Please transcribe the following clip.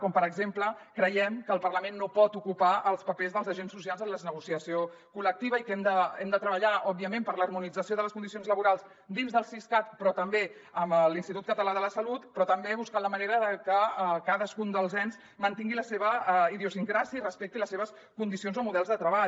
com per exemple creiem que el parlament no pot ocupar els papers dels agents socials en la negociació col·lectiva i que hem de treballar òbviament per l’harmonització de les condicions laborals dins del siscat però també amb l’institut català de la salut però també buscant la manera de que cadascun dels ens mantingui la seva idiosincràsia i respecti les seves condicions o models de treball